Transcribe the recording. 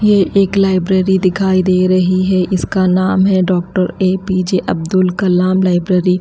ये एक लाइब्रेरी दिखाई दे रही है इसका नाम है doctor A P J Abdul Kalam library ।--